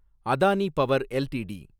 Adani power LTD